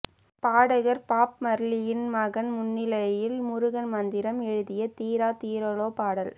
பாடகர் பாப் மார்லியின் மகன் முன்னிலையில் முருகன் மந்திரம் எழுதிய தீரா தீராளே பாடல்